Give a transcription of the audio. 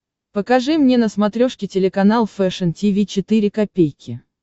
покажи мне на смотрешке телеканал фэшн ти ви четыре ка